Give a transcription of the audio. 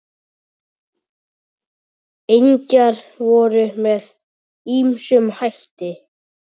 Engjar voru með ýmsum hætti.